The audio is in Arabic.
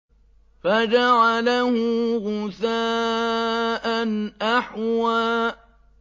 فَجَعَلَهُ غُثَاءً أَحْوَىٰ